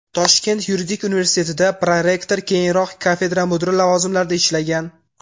Toshkent yuridik universitetida prorektor, keyinroq kafedra mudiri lavozimlarida ishlagan.